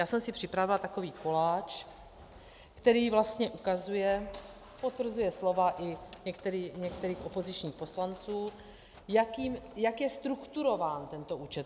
Já jsem si připravila takový koláč, který vlastně ukazuje - potvrzuje slova i některých opozičních poslanců - jak je strukturován tento účet.